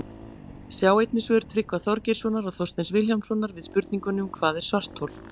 Sjá einnig svör Tryggva Þorgeirssonar og Þorsteins Vilhjálmssonar við spurningunum Hvað er svarthol?